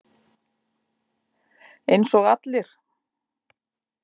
Eins og allir.